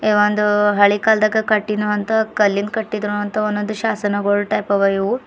ಈ ಒಂದು ಹಳೆ ಕಾಲ್ದಾಗ ಕಟ್ಟಿನ್ವಂತ ಕಲ್ಲಿನ್ ಕಟ್ಟಿದ್ ಅಂತಹ ಒಂದೊಂದು ಶಾಸನಗೋಳ್ ಟೈಪ್ ಅವ ಇವು.